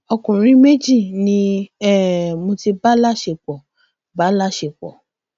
ọkùnrin méjì ni um mo ti bá láṣepọ bá láṣepọ